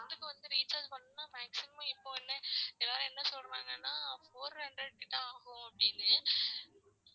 Two month க்கு வந்து recharge பண்ணனும்னா maximum இப்போ என்ன எல்லாரும் என்ன சொல்றாங்கன்னா Four hundred கிட்ட ஆகும் அப்டீன்னு